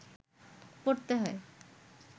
পড়তে হয়